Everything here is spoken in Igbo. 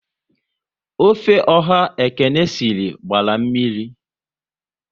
Ofe ọha Ekene sịrị gbara mmiri